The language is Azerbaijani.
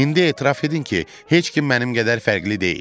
İndi etiraf edin ki, heç kim mənim qədər fərqli deyil.